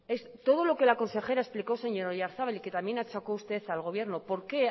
todo lo que la consejera explicó señor oyarzabal y que también achacó usted al gobierno por qué